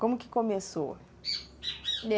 Como que começou?